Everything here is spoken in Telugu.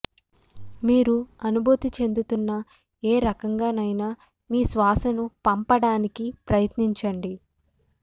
మీరు అనుభూతి చెందుతున్న ఏ రకంగానైనా మీ శ్వాసను పంపడానికి ప్రయత్నించండి